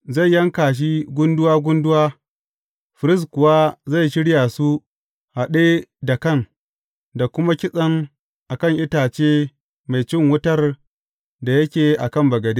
Zai yanka shi gunduwa gunduwa, firist kuwa zai shirya su haɗe da kan, da kuma kitsen a kan itace mai cin wutar da yake a kan bagade.